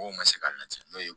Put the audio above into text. Mɔgɔw ma se ka lajɛ n'o ye